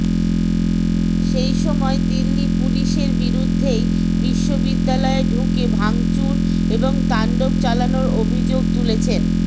সেইসময় দিল্লি পুলিশের বিরুদ্ধেই বিশ্ববিদ্যালয়ে ঢুকে ভাঙচুর এবং তাণ্ডব চালানোর অভিযোগ তুলেছেন